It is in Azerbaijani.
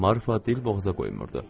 Marfa dilboğaza qoymurdu.